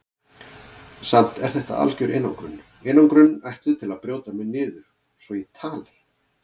Samt er þetta algjör einangrun, einangrun ætluð til að brjóta mig niður svo ég tali.